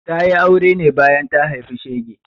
Ta yi aure ne bayan ta haifi shege.